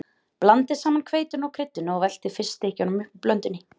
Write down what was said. Blandið saman hveitinu og kryddinu og veltið fiskstykkjunum upp úr blöndunni.